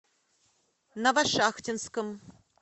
новошахтинском